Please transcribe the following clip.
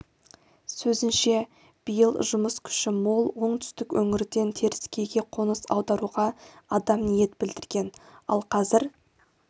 сөзінше биыл жұмыс күші мол оңтүстік өңірден теріскейге қоныс аударуға адам ниет білдірген ал қазір